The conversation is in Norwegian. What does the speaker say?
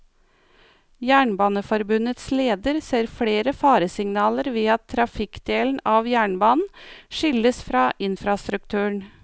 Jernbaneforbundets leder ser flere faresignaler ved at trafikkdelen av jernbanen skilles fra infrastrukturen.